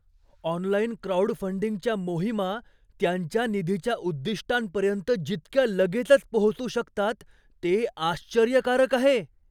Online क्राउडफंडिंगच्या मोहिमा त्यांच्या निधीच्या उद्दिष्टांपर्यंत जितक्या लगेचच पोहोचू शकतात ते आश्चर्यकारक आहे.